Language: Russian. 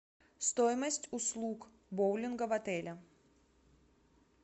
стоимость услуг боулинга в отеле